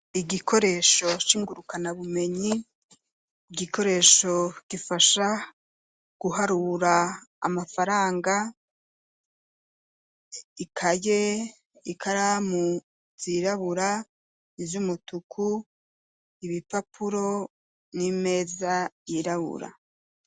Igikoresho singurukana bumenyi igikoresho gifasha guharura amafaranga ikaye ikaramu zirabura ivyo umutuku ibipapuro n'imeza yirabura.